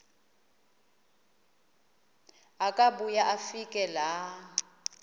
akubuya afike laa